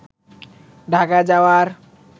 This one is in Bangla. ঢাকা যাওয়ার